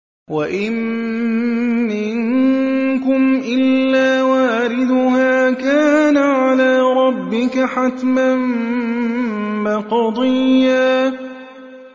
وَإِن مِّنكُمْ إِلَّا وَارِدُهَا ۚ كَانَ عَلَىٰ رَبِّكَ حَتْمًا مَّقْضِيًّا